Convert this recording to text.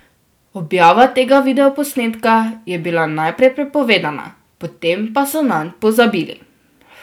Objava tega videoposnetka je bil najprej prepovedana, potem pa so nanj pozabili.